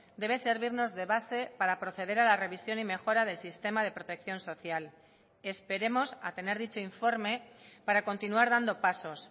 debe servirnos de base para proceder a la revisión y mejora del sistema de protección social esperemos a tener dicho informe para continuar dando pasos